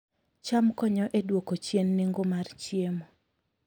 cham konyo e duoko chien nengo mar chiemo